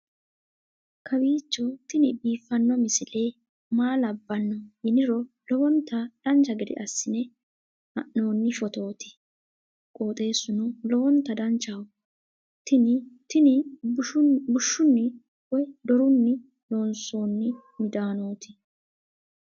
kowiicho tini biiffanno misile maa labbanno yiniro lowonta dancha gede assine haa'noonni foototi qoxeessuno lowonta danachaho. tini tini bushshunni woy dorunni loonsoonni midaanooti